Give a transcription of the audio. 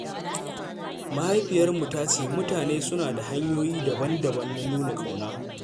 Mahaifiyarmu ta ce mutane suna da hanyoyi daban-daban na nuna ƙauna.